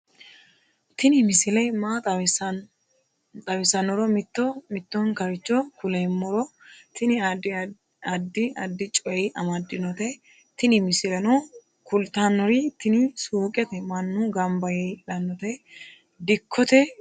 tini misile maa xawissannoro mito mittonkaricho kulummoro tini addi addicoy amaddinote tini misileno kultannori tini suuqete mannu gamba yee hidhannote dikkote gidooti